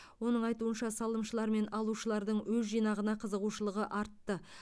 оның айтуынша салымшылар мен алушылардың өз жинағына қызығушылығы артты